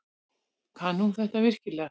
Kann hún þetta virkilega?